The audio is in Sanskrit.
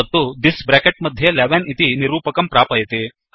तत्तु थिस् ब्रेकेट् मध्यस्थं 11 इति निरूपकं प्रापयति